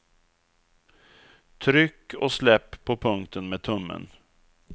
Tryck och släpp på punkten med tummen.